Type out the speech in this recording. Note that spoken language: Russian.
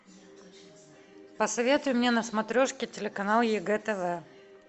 посоветуй мне на смотрешке телеканал егэ тв